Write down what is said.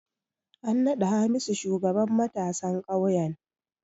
An naɗa Hamisu shugaban matasan ƙauyen.